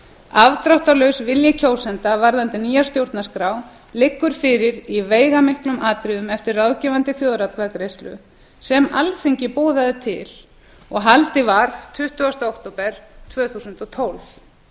afdráttarlaus vilji kjósenda varðandi nýja stjórnarskrá liggur fyrir í veigamiklum atriðum eftir ráðgefandi þjóðaratkvæðagreiðslu sem alþingi boðaði til og haldin var tuttugasta október tvö þúsund og tólf